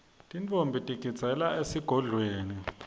tintfombi tigidzela esigodlweni